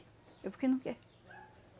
É porque não quer.